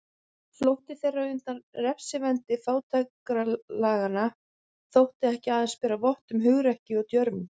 Flótti þeirra undan refsivendi fátækralaganna þótti ekki aðeins bera vott um hugrekki og djörfung.